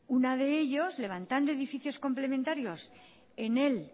uno de ellos levantando edificios complementarios en el